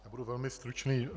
Já budu velmi stručný.